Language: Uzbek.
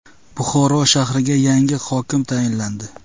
Buxoro shahriga yangi hokim tayinlandi .